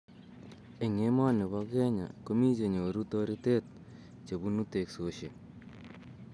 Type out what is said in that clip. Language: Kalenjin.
Eng emoni pa Kenya, komi che nyoru toritet chebunu teksosiek